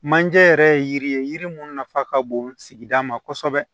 Manje yɛrɛ ye yiri ye yiri mun nafa ka bon sigida ma kosɛbɛ